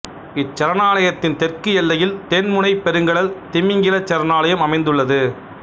இச்சரணாலயத்தின் தெற்கு எல்லையில் தென்முனைப் பெருங்கடல் திமிங்கிலச் சரணாலயம் அமைந்துள்ளது